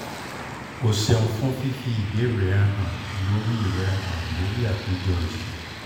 o ṣeun fun fifi ibeere rẹ han lori rẹ han lori apejọ yii